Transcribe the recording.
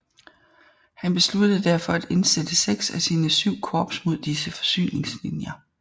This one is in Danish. Han besluttede derfor at indsætte seks af sine syv korps mod disse forsyningslinjer